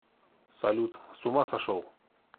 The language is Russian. салют с ума сошел